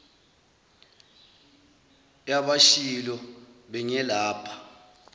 ya bashilo bengilapha